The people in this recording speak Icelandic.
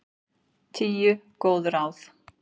Tíu góð ráð